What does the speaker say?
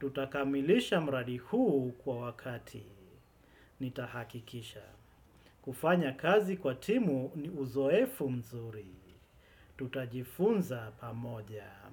Tutakamilisha mradi huu kwa wakati. Nitahakikisha. Kufanya kazi kwa timu ni uzoefu mzuri. Tutajifunza pamoja.